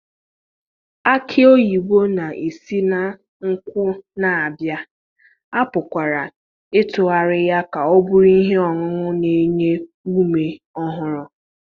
Aki oyibo na-esi na nkwụ na-abịa, a pụkwara ịtụgharị ya ka ọ bụrụ ihe ọṅụṅụ na-enye ume ọhụrụ.